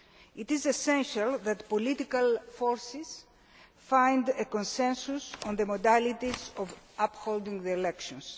It is essential that the political forces find a consensus on the modalities for holding the elections.